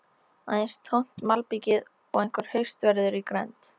Aðeins tómt malbikið og einhver haustveður í grennd.